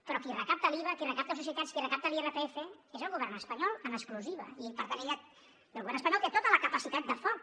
però qui recapta l’iva qui recapta societats qui recapta l’irpf és el govern espanyol en exclusiva i per tant el govern espanyol té tota la capacitat de foc